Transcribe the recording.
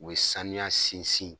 U ye saniya sinsin